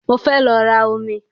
Mo fẹ́ lọ ra omi